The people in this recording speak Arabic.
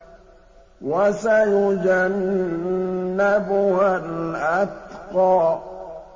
وَسَيُجَنَّبُهَا الْأَتْقَى